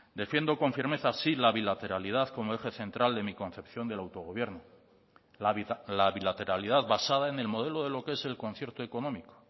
defiendo con firmeza sí la bilateralidad como eje central de mi concepción del autogobierno la bilateralidad basada en el modelo de lo que es el concierto económico